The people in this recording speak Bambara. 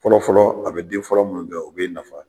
Fɔlɔ fɔlɔ a bɛ den fɔlɔ min kɛ o bɛ e nafa